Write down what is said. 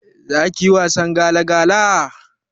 Zakiyi wasan gala gala?